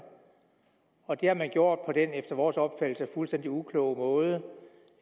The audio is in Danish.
og det har man gjort på den efter vores opfattelse fuldstændig ukloge måde